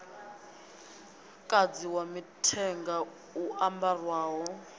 muṅadzi wa mithenga u ambarwaho